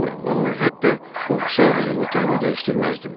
Qorxmuram, amma hətta qorxsam belə otağımı dəyişdirməzdim.